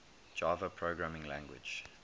java programming language